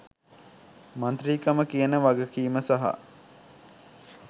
මන්ත්‍රීකම කියන වගකීම සහ